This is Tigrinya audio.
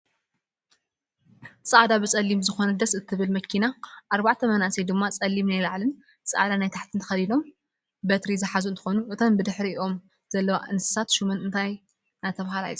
ፃዕዳ ብፀሊም ዝኮነት ደስ ትብል መኪናን ኣርባዕተ መናእሰይ ድማ ፀሊም ናይ ላዕልን ፃዕዳ ናይ ታሕቲን ተከዲኖም በርቲ ዝሓዙ እንትኮኑ እተን ብድሕሪይኦም ዘለዋ እንስሳ ሹመን እንታይ እናተባህላ ይፅውዓ?